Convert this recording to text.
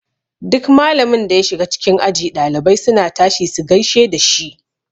Duk malamin da ya shiga cikin aji ɗalibai suna tashi su gaishe dashi.